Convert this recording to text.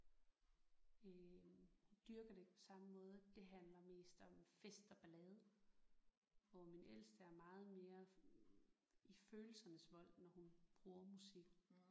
Øh hun dyrker det ikke på samme måde det handler mest om fest og ballade hvor min ældste er meget mere sådan i følelsernes vold når hun bruger musikken